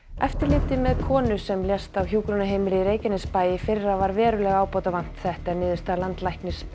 eftirliti með konu sem lést á hjúkrunarheimili í Reykjanesbæ í fyrra var verulega ábótavant þetta er niðurstaða landlæknis